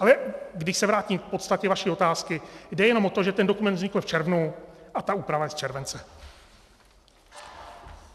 Ale když se vrátím k podstatě vaší otázky, jde jenom o to, že ten dokument vznikl v červnu a ta úprava je z července.